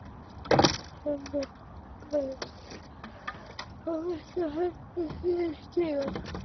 Sveinbjörn óttaðist það versta og hentist niður stigann.